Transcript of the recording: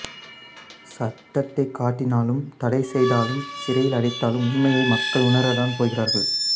சட்டத்தைக் காட்டினாலும் தடை செய்தாலும் சிறையிலடைத்தாலும் உண்மையை மக்கள் உணரத்தான் போகிறார்கள்